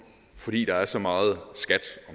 fordi der er så meget skat